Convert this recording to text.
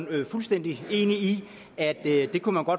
er fuldstændig enig i det